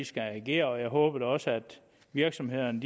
skal agere og jeg håber da også at virksomhederne